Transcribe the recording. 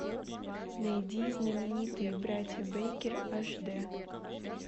найди знаменитые братья бейкер аш д